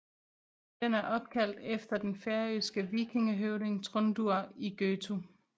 Den er opkaldt efter den færøske vikingehøvding Tróndur í Gøtu